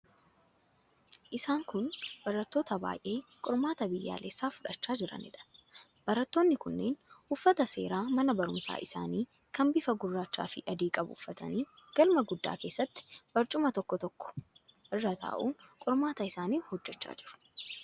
Isaan kun barattoota baay'ee qormaata biyyaalessaa fudhachaa jiraniidha. Barattoonni kunneen uffata seeraa mana barumsaa isaanii kan bifa gurraachaafi adii qabu uffatanii, galma guddaa keessatti barcuma tokko tokko irra taa'uun qormaata isaanii hojjechaa jiru.